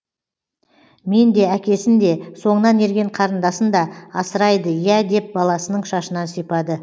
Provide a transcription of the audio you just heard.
мен де әкесін де соңынан ерген қарындасын да асырайды иә деп баласының шашынан сипады